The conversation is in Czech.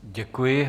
Děkuji.